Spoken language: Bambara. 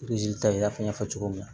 ta i n'a fɔ n y'a fɔ cogo min na